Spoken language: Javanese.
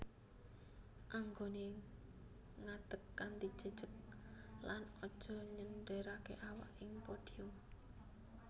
Anggoné ngadeg kanthi jejeg lan aja nyenderaké awak ing podium